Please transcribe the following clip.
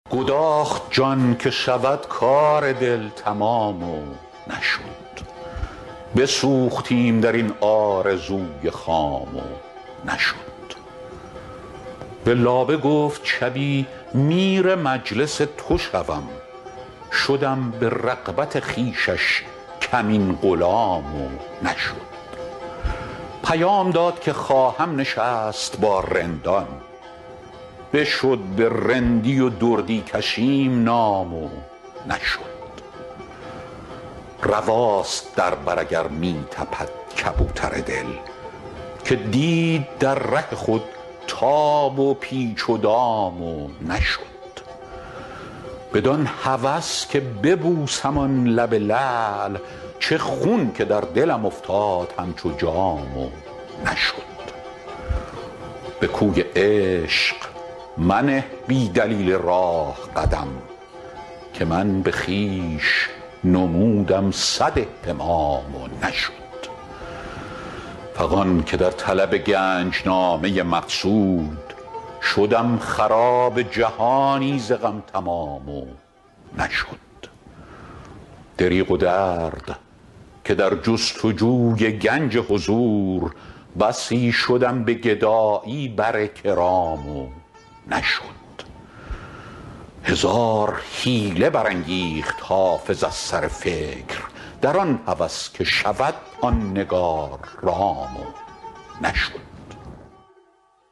گداخت جان که شود کار دل تمام و نشد بسوختیم در این آرزوی خام و نشد به لابه گفت شبی میر مجلس تو شوم شدم به رغبت خویشش کمین غلام و نشد پیام داد که خواهم نشست با رندان بشد به رندی و دردی کشیم نام و نشد رواست در بر اگر می تپد کبوتر دل که دید در ره خود تاب و پیچ دام و نشد بدان هوس که به مستی ببوسم آن لب لعل چه خون که در دلم افتاد همچو جام و نشد به کوی عشق منه بی دلیل راه قدم که من به خویش نمودم صد اهتمام و نشد فغان که در طلب گنج نامه مقصود شدم خراب جهانی ز غم تمام و نشد دریغ و درد که در جست و جوی گنج حضور بسی شدم به گدایی بر کرام و نشد هزار حیله برانگیخت حافظ از سر فکر در آن هوس که شود آن نگار رام و نشد